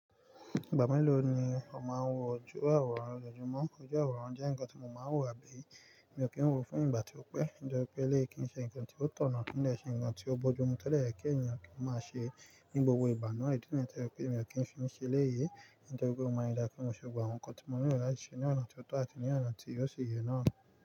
Ìgbà mélòó ni ọ máa ń wo ojú àwòrán? Lójúmọ́ ojú àwòrán jẹ́ nǹkan tí mo máa ń wò àbí? Mi ò kí ń wò ó fún ìgbà tí ó pẹ́, nítorí pé léè kín ń ṣe nǹkan tí ó tọ̀nà. Kí n dẹ́ ṣe ǹkan tí ó bojú mu tẹ́lẹ̀ kí ènìyàn kí ó máa ṣe ní gbogbo ìgba na. Nítorí pé mi ò kí ń fi ṣe léyi, nítorí pé ó máa ń dà kí n se gbogbo àwọn nǹkan tí mo ní lo lati ṣe ní ọ̀nà tí ó tọ́ àti ní ọ̀nà tí yóò ṣi yè náà.